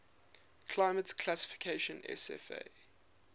climate classification cfa